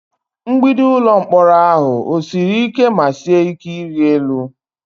Mgbidi ụlọ mkpọrọ ahụ siri ike ma sie ike ịrị elu?